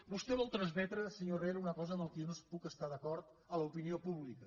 vostè vol transmetre senyor herrera una cosa amb la qual jo no hi puc estar d’acord a l’opinió pública